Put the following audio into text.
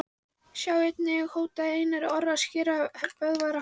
Sjá einnig: Hótaði Einar Orri að skera Böðvar á háls?